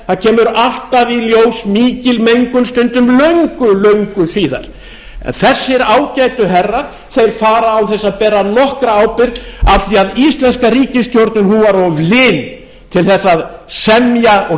fer kemur alltaf í ljós mikil mengun stundum löngu löngu síðar en þessir ágætu herrar fara án þess að bera nokkra ábyrgð af því að íslenska ríkisstjórnin var of lin til þess að semja og